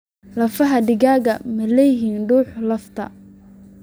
Lafaha digaagu ma leeyihiin dhuuxa lafta?